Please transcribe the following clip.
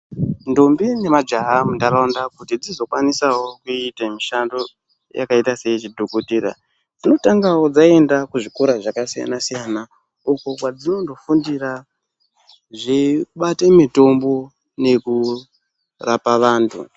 Ndombi ne majaha mu ndaraunda kuti dzizo kwanisawo kuite mishando yakaita seye chidhokotera dzotangawo dzaenda ku zvikora zvaka siyana siyana uko kwa dzinondo fundira zvei bate mitombo neku rapa vantu.